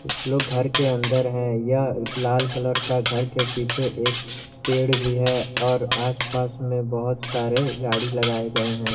कुछ लोग घर के अंदर है यह लाल कलर का घर के पीछे एक पेड़ भी है और आसपास में बहुत सारे गाड़ी लगाए गए हैं।